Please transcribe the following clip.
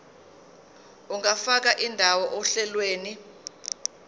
ungafaka indawo ohlelweni